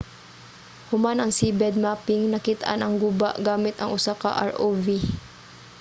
human ang seabed mapping nakit-an ang guba gamit ang usa ka rov